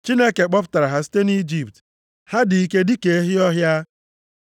Chineke kpọpụtara ha site nʼIjipt. Ha dị ike dịka ehi ọhịa.